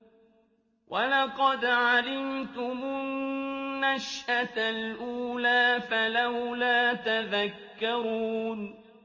وَلَقَدْ عَلِمْتُمُ النَّشْأَةَ الْأُولَىٰ فَلَوْلَا تَذَكَّرُونَ